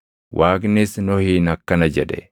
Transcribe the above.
Waaqnis Nohiin akkana jedhe;